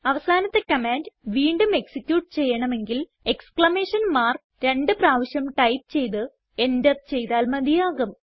അവസാനത്തെ കമാൻഡ് വീണ്ടും എക്സിക്യൂട്ട് ചെയ്യണമെങ്കിൽ എക്സ്ക്ലമേഷൻ മാർക്ക് രണ്ട് പ്രാവശ്യം ടൈപ്പ് ചെയ്ത് എന്റർ ചെയ്താൽ മതിയാകും